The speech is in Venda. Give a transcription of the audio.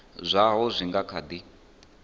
zwaho zwi nga kha di